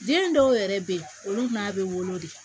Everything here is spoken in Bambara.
Den dɔw yɛrɛ bɛ yen olu n'a bɛ wolo de